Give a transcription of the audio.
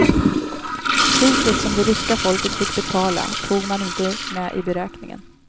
Priset som det ryska folket fick betala tog man inte med i beräkningen.